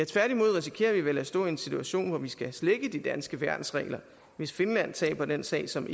tværtimod risikerer vi vel at stå i en situation hvor vi skal slække de danske værnsregler hvis finland taber den sag som